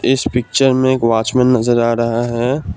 इस पिक्चर में एक वॉचमैन में नजर आ रहा है।